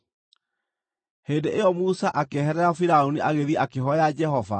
Hĩndĩ ĩyo Musa akĩeherera Firaũni agĩthiĩ akĩhooya Jehova.